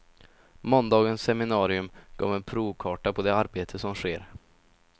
Måndagens seminarium gav en provkarta på det arbete som sker.